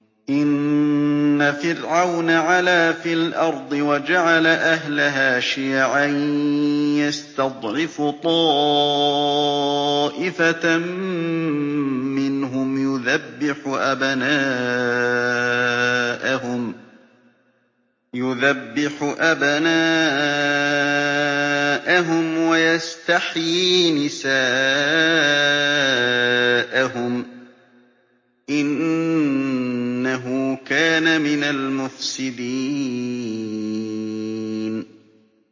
إِنَّ فِرْعَوْنَ عَلَا فِي الْأَرْضِ وَجَعَلَ أَهْلَهَا شِيَعًا يَسْتَضْعِفُ طَائِفَةً مِّنْهُمْ يُذَبِّحُ أَبْنَاءَهُمْ وَيَسْتَحْيِي نِسَاءَهُمْ ۚ إِنَّهُ كَانَ مِنَ الْمُفْسِدِينَ